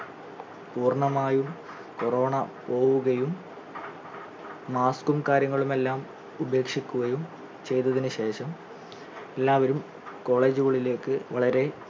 പൂർണമായും corona പോവുകയും mask ഉം കാര്യങ്ങളുമെല്ലാം ഉപേക്ഷിക്കുകയും ചെയ്തതിനു ശേഷം എല്ലാവരും college ഉകളിലേക്ക് വളരെ